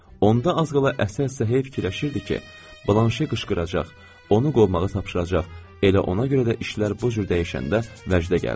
Onda az qala əsə-əsə fikirləşirdi ki, Blanşe qışqıracaq, onu qovmağa tapşıracaq, elə ona görə də işlər bu cür dəyişəndə vəcdə gəldi.